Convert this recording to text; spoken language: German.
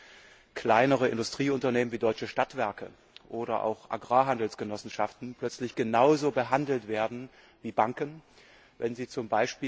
an kleinere Industrieunternehmen wie deutsche Stadtwerke oder auch Agrarhandelsgenossenschaften plötzlich genauso behandelt werden wie Banken, wenn sie z.